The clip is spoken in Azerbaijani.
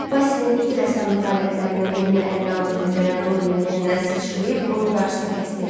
Basilin itirəssamlıq alətlərindən birini əlinə aldığını görən Doryan yerindən sıçrayıb, onun qarşısına kəsdi.